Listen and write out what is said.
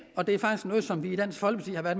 og det er noget som vi i dansk folkeparti